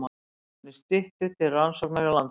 Málefni Styttu til rannsóknar hjá Landsbanka